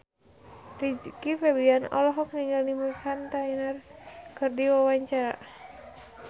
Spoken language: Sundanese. Rizky Febian olohok ningali Meghan Trainor keur diwawancara